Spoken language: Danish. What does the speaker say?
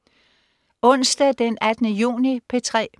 Onsdag den 18. juni - P3: